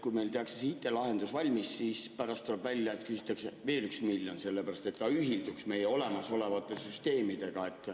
Kui meil tehakse IT‑lahendus valmis, siis pärast tuleb välja, et küsitakse veel üks miljon, selleks et lahendus ühilduks olemasolevate süsteemidega.